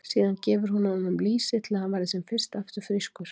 Síðan gefur hún honum lýsi til að hann verði sem fyrst aftur frískur.